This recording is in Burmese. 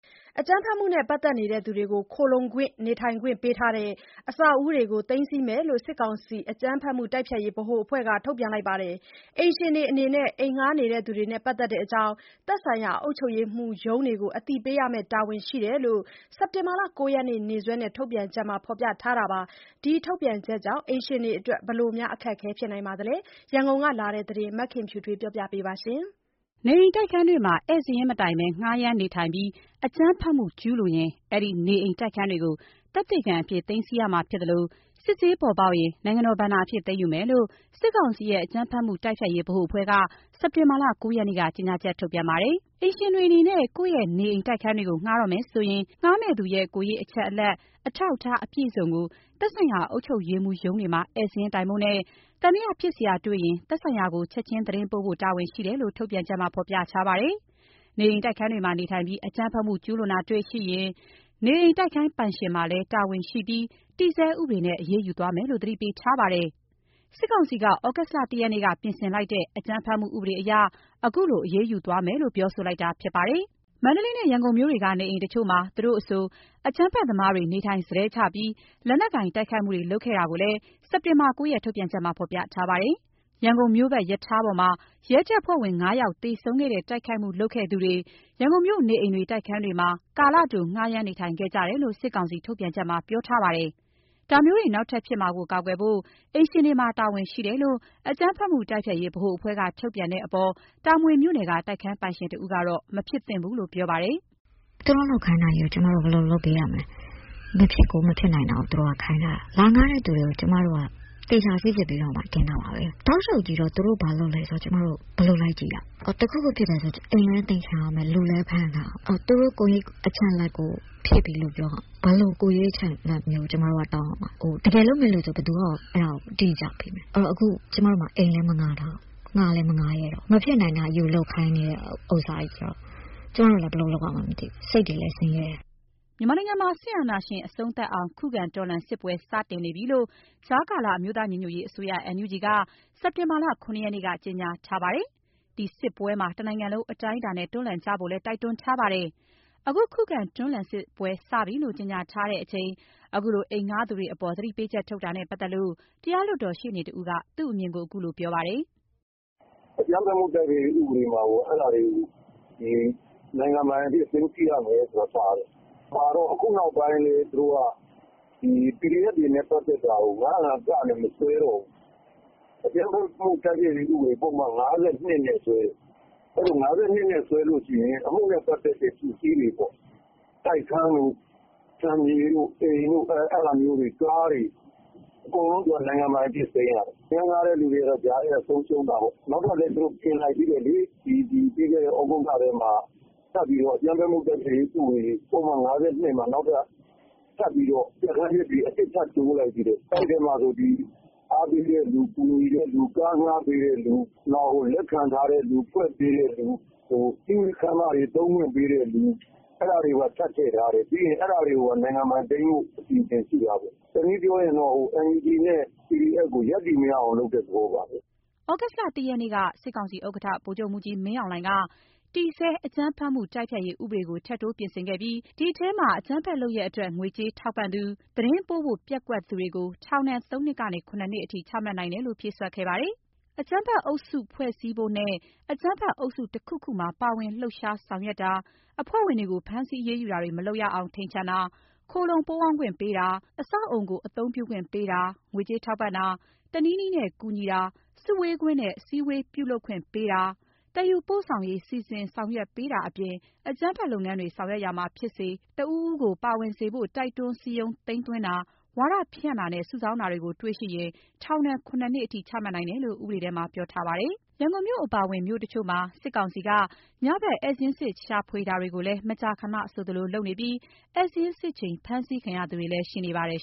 အကြမ်းဖက်မှုနဲ့ ပတ်သက်နေသူတွေကို ခိုလှုံခွင့်၊ နေထိုင်ခွင့်ပေးထားတဲ့ အဆောက်အဦးတွေကို သိမ်းဆည်းမယ်လို့ စစ်ကောင်စီ အကြမ်းဖက်မှုတိုက်ဖျက်ရေးဗဟိုအဖွဲ့က ထုတ်ပြန်ခဲ့ပါတယ်။ အိမ်ရှင်တွေအနေနဲ့ အိမ်ငှားနေသူတွေနဲ့ ပတ်သက်တဲ့အကြောင်း သက်ဆိုင်ရာ အုပ်ချုပ်ရေးမှူးရုံးတွေကို အသိပေးရမယ့်တာဝန်ရှိတယ်လို့ စက်တင်ဘာ ၉ ရက်နေ့စွဲနဲ့ ထုတ်ပြန်ချက်မှာ ဖော်ပြထားပါတယ်။ ဒီထုတ်ပြန်ချက်ကြောင့် အိမ်ရှင်တွေအတွက် ဘယ်လို အခက်အခဲဖြစ်နိုင်သလဲဆိုတာ ရန်ကုန်ကလာတဲ့သတင်းကို မခင်ဖြူထွေးက ပြောပြပါမယ်။ နေအိမ်၊ တိုက်ခန်းတွေမှာ ဧည့်စာရင်းမတိုင်ဘဲ ငှားရမ်းနေထိုင်ပြီး အကြမ်းဖက်မှုကျူးလွန်ရင် အဲဒီ နေအိမ်၊ တိုက်ခန်းတွေကို သက်သေခံအဖြစ် သိမ်းဆည်းခံရမှာဖြစ်သလို စစ်ဆေးပေါ်ပေါက်ရင် နိုင်ငံတော်ဘဏ္ဍာအဖြစ်သိမ်းယူမယ်လို့ စစ်ကောင်စီရဲ့ အကြမ်းဖက်မှုတိုက်ဖျက်ရေးဗဟိုအဖွဲ့က စက်တင်ဘာလ ၉ ရက်နေ့က ကြေညာချက်ထုတ်ပြန်ခဲ့ပါတယ်။ အိမ်ရှင်တွေအနေနဲ့ ကိုယ့်နေအိမ်၊ တိုက်ခန်းတွေကို ငှားတော့မယ်ဆိုရင် ငှားမယ့်သူရဲ့ ကိုယ်ရေးအချက်အလက်၊ အထောက်အထားအပြည့်အစုံကို သက်ဆိုင်ရာ အုပ်ချုပ်ရေးမှူးရုံးတွေမှာ ဧည့်စာရင်းတိုင်ဖို့နဲ့ သံသယဖြစ်စရာတွေ့ရင် သက်ဆိုင်ရာကို ချက်ချင်းသတင်းပေးဖို့ တာဝန်ရှိတယ်လို့ ထုတ်ပြန်ချက်မှာ ဖော်ပြပါတယ်။ နေအိမ်၊ တိုက်ခန်းတွေမှာ နေထိုင်ပြီး အကြမ်းဖက်မှုကျူးလွန်တာတေ့ွရှိရင် နေအိမ်၊ တိုက်ခန်းပိုင်ရှင်မှာလည်း တာဝန်ရှိပြီး တည်ဆဲဥပဒေနဲ့ အရေးယူသွားမယ်လို့ သတိပေးထားပါတယ်။ စစ်ကောင်စီက သြဂုတ်လ ၁ ရက်နေ့က ပြင်ဆင်လိုက်တဲ့ အကြမ်းဖက်မှုဥပဒေအရ ခုလိုအရေးယူသွားမယ်လို့ ပြောလိုက်တာဖြစ်ပါတယ်။ မန္တလေးမြို့နဲ့ ရန်ကုန်မြို့တို့က နေအိမ်တချို့မှာ သူတို့အဆို အကြမ်းဖက်သမားတွေ နေထိုင်စတည်းချပြီး လက်နက်ကိုင်တိုက်ခိုက်မှုတွေ လုပ်ခဲ့တာကိုလည်း စက်တင်ဘာ ၉ ရက် ထုတ်ပြန်ချက်မှာ ဖော်ပြထားပါတယ်။ရန်ကုန်မြို့ပတ်ရထားပေါ်မှာ ရဲတပ်ဖွဲ့ဝင် ငါးယောက် သေဆုံးခဲ့တဲ့တိုက်ခိုက်မှု လုပ်ခဲ့သူတွေ ရန်ကုန်မြို့ နေအိမ်တွေ တိုက်ခန်းတွေမှာ ကာလတို ငှားရမ်းနေထိုင်ခဲ့ကြတယ်လို့ စစ်ကောင်စီထုတ်ပြန်ချက်မှာ ပြောထားပါတယ်။ ဒါမျိုးတွေနောက်ထပ်ဖြစ်မှာ ကာကွယ်ဖို့ အိမ်ရှင်တွေမှာ တာဝန်ရှိတယ်လို့ အကြမ်းဖက်မှုတိုက်ဖျက်ရေး ဗဟိုအဖွဲ့က ထုတ်ပြန်တဲ့အပေါ်တာမွေမြို့နယ်က တိုက်ခန်းပိုင်ရှင်တဦးကတော့ မဖြစ်သင့်ဘူးလို့ ပြောပါတယ်။ "သူတို့လုပ်ခိုင်းတာကို ကျမတို့ ဘယ်လိုလုပ်ပေးရမလဲ။ မဖြစ်ကိုမဖြစ်နိုင်တာကို သူတို့ကခိုင်းတာ။ လာဌားတဲ့သူတွေကို Aသချာစိစစ်ပြီးတင်တာပါပဲ။ တောက်လျှောက်ကြီးတော့ သူတို့ဘာလုပ်နေတယ် ဘယ်လိုလိုက်ကြည့်ရမလဲ။ တခုခုဖြစ်တယ်ဆို အိမ်လည်းသိမ်းခံရမယ် လူလည်းဖမ်းခံရမယ်။ နောက် သူတို့ကိုယ်ရေးအချက်အလက်ဖြည့်ရမယ်ဆိုတော့ ဘယ်လို ကိုယ်ရေးအချက်အလက် တောင်းရမှာလဲ။ တကယ်လုပ်မယ့်သူဆိုရင်ကော ဘယ်သူက တိကျပေးမလဲ။ ကျမတို့မှာ ခုအိမ်လည်း မဌားထားဘူး ဌားလည်းမဌားရဲတော့ဘူး။ မဖြစ်နိုင်တာလုပ်ခိုင်းတော့ ကျမတို့ဘာလုပ်ရမလဲမသိ စိတ်တွေလဲ ဆင်းရဲတယ်။" မြန်မာနိုင်ငံမှာ စစ်အာဏာရှင်အဆုံးသတ်အောင် ခုခံတွန်းလှန်စစ်ပွဲ စတင်နေပြီလို့ ကြားကာလအမျိုးသားညီညွတ်ရေးအစိုးရ NUG က စက်တင်ဘာ ၇ ရက်နေ့က ကြေငြာထားပါတယ်။ ဒီစစ်ပွဲမှာ တနိုင်ငံလုံးအတိုင်းအတာနဲ့ တွန်းလှန်ကြဖို့လည်း တိုက်တွန်းထားပါတယ်။ အဲဒီခုခံတွန်းလှန်စစ်ပွဲစပြီလို့ ကြေညာထားချိန် ခုလို အိမ်ငှားသူတွေအပေါ် သတိပေးချက်ထုတ်တာနဲ့ပတ်သက်လို့ တရားလွတ်တော်ရှေ့နေတဦးက သူ့အမြင်ကို ခုလိုပြောပါတယ်။ "အကြမ်းဖက်မှုတိုက်ဖျက်ရေးဥပဒေမှာကိုက အဲလိုလုပ်ရင် နိုင်ငံပိုင်သိမ်းမယ်ဆိုတာပါတယ်၊ ခုနောက်ပိုင်းကျတော့ သူတို့က PDF နဲ့ ပတ်သတ်တာတွေကို ၅၀၅-ကနဲ့ မဆွဲတော့ဘူး။ အကြမ်းဖက်မှုတိုက်ဖျက်ရေးဥပဒေပုဒ်မ ၅၂ နဲ့ စွဲတယ်။ ၅၂ နဲ့ဆွဲရင် အမှုနဲ့ပတ်သက်တဲ့ ပစ္စည်းတွေပေါ့၊ တိုက်ခန်း အိမ်ခြံမြေ ကားတွေကို အကုန်နိုင်ငံပိုင်အနေနဲ့သိမ်းရတယ်။ အခန်းဌားတဲ့သူတွေကတော့ ကြားထဲကဆုံးရှုံးတာပေါ့။ နောက်တော့လည်း သူတို့ပြင်လိုက်သေးတယ်။ ပြီးခဲ့တဲ့ ဩဂုတ်လတုန်းက အကြမ်းဖက်မှုဥပဒေ ပုဒ်မ ၅၂ မှာ နောက်ထပ်ပြဌာန်းချက်တွေထပ်တိုးတယ်။ အဲထဲမှာဆို အားပေးတဲ့သူ ကူညီတဲ့သူ ကားဌားပေးတဲ့သူ လက်ခံထားသူ ဖွက်ပေးတဲ့သူ နောက်စည်းဝေးခန်းမ သုံးခွင့်ပေးတဲ့သူ အဲဒါတွေပါထပ်ထည့်ထားတာ။ ဆိုတော့ အဲဒါတွေပါ နိုင်ငံပိုင်သိမ်းဖို့ အစီအစဉ်ရှိတာပေါ့၊ တနည်းပြောရင် NUG နဲ့ PDF တို့ကို ရပ်တည်လို့မရအောင်လုပ်တာပါပဲ။" သြဂုတ်လ ၁ ရက်နေ့က စစ်ကောင်စီဥက္ကဋ္ဌ ဗိုလ်ချုပ်မှူးကြီးမင်းအောင်လှိုင်က တည်ဆဲ အကြမ်းဖက်မှု တိုက်ဖျက်ရေးဥပဒေကို ထပ်တိုးပြင်ဆင်ခဲ့ပြီး အဲဒီထဲမှာ အကြမ်းဖက်လုပ်ရပ်အတွက် ငွေကြေးထောက်ပံ့သူ၊ သတင်းပေးဖို့ပျက်ကွက်သူတွေကို ထောင်ဒဏ် ၃ နှစ်ကနေ ၇ နှစ်အထိ ချမှတ်နိုင်တယ်လို့ ဖြည့်စွက်ခဲ့ပါတယ်။ အကြမ်းဖက်အုပ်စုဖွဲ့စည်းဖို့နဲ့ အကြမ်းဖက်အုပ်စုတခုခုမှာ ပါဝင် လှုပ်ရှားဆောင်ရွက်တာ၊ အဖွဲ့ဝင်တွေကို ဖမ်းဆီးအရေးယူတာတွေ မလုပ်ရအောင် ထိန်ချန်တာ၊ ခိုလှုံပုန်းအောင်းခွင့်ပေးတာ၊ အဆောက်အအုံကို အသုံးပြုခွင့်ပေးတာ၊ ငွေကြေးထောက်ပံ့တာ ၊ တနည်းနည်းနဲ့ ကူညီတာ၊ စုဝေးခွင့်နဲ့ အစည်းအဝေးပြုလုပ်ခွင့်ပေးတာ၊ သယ်ယူပို့ဆောင်ရေး စီစဉ် ဆောင်ရွက်ပေးတာအပြင် အကြမ်းဖက်လုပ်ငန်းတွေ ဆောင်ရွက်ရာမှာဖြစ်စေ တဦးဦးကိုပါဝင်စေဖို့ တိုက်တွန်းစည်းရုံး သိမ်းသွင်းတာ၊ ဝါဒဖြန့်တာနဲ့ စုဆောင်းတာတွေကို စစ်ဆေးတွေ့ရှိရင် ထောင်ဒဏ် ခုနစ်နှစ်အထိ ချမှတ်နိုင်တယ်လို့ ဥပဒေထဲမှာ ပြောထားပါတယ်။ ရန်ကုန်မြို့အပါအဝင် မြို့တချို့မှာ စစ်ကောင်စီက ညဘက် ဧည့်စာရင်းစစ် ရှာဖွေတာတွေကိုလည်း မကြာခဏဆိုသလို လုပ်နေပြီး ဧည့်စာရင်းစစ်ချိန် ဖမ်းဆီးခံရသူတွေလည်း ရှိပါတယ်